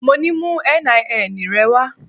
Mo ní mú NIN rẹ wá.